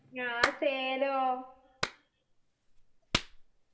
ഞാൻ സേലോം